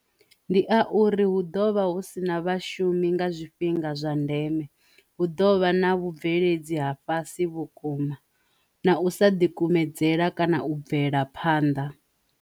Ndi a uri hu ḓovha hu si na vhashumi nga zwifhinga zwa ndeme, hu ḓovha na vhubveledzi ha fhasi vhukuma na u sa ḓikumedzela kana u bvela phanḓa